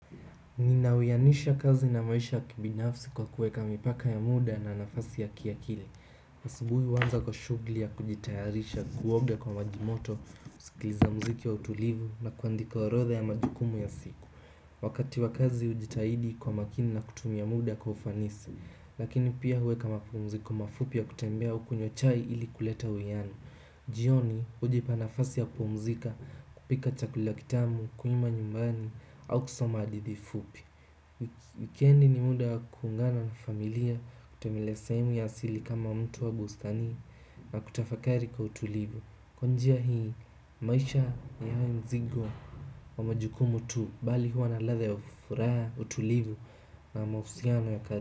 Ninawianisha kazi na maisha kibinafsi kwa kuweka mipaka ya muda na nafasi ya kiakili asubuhi huanza kwa shughuli ya kujitayarisha kuoga kwa majimoto, kusikiliza muziki wa utulivu na kuandika orodha ya majukumu ya siku wakati wa kazi hujitahidi kwa makini na kutumia muda kwa ufanisi lakini pia huweka mapumziko kwa mafupi ya kutembea au kunywa chai ili kuleta uwiano jioni hujipa nafasi ya kupumzika kupika chakula kitamu kuimba nyumbani au kusoma hadithi fupi wikendi ni muda wa kuungana na familia kutembelea sehemu ya asili kama mto au bustani na kutafakari kwa utulivu kwa njia hii maisha hayawi mzigo wa majukumu tu bali hua na ladha ya furaha utulivu na mauhusiano ya karibu.